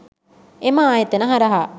එම ආයතන හරහා